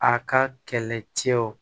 A ka kɛlɛcɛw